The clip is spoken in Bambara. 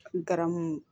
Garamu